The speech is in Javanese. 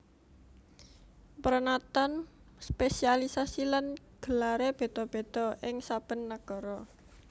Pranatan spesialiasi lan gelaré béda béda ing saben nagara